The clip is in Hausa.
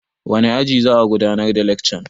Wane aji za'a gudanar da lekcan?